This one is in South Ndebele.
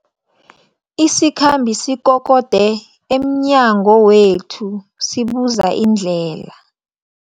Isikhambi sikokode emnyango wethu sibuza indlela.